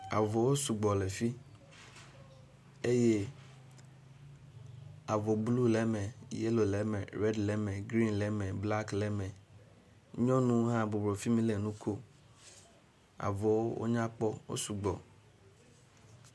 Avɔwo sugbɔ le fii eye avɔ blu le eme, yelo le eme, redi le eme, grin le eme, blaki le eme. Nyɔnu hã bɔbɔnɔ fi mi le nu kom.